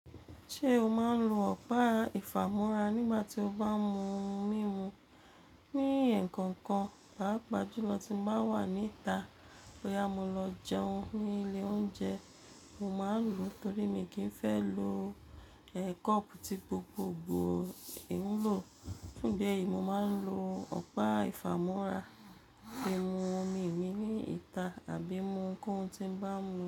Ṣé o máa ń lo ọ̀pá ìfàmora nígbà tí o bá mú ohun mímu? Ní ẹ̀kọ́ kan, pàápàá jùlọ tí mo bá wà níta bó yá mo lọ jẹun ní ilé oúnjẹ, mo máa ń lò ó torí mi kì í fẹ́ lo, e, cup tí gbogbogbò ń lò. Nígbà yìí, mo máa ń lo ọ̀pá ìfàmúra fi mú omi mi níta àbí mú ohunkóhun tí ń bá mú.